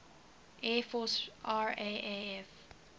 air force raaf